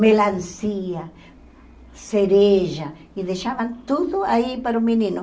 Melancia, cereja, e deixavam tudo aí para o menino.